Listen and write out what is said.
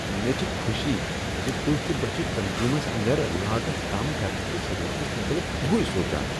مےٚ چھےٚ خوشی ز تہۍ تہٕ بہٕ چھ تنظیمس اندر لاگت کم کرنٕکس ضرورتس متعلٮق ہیُوٕے سوچان۔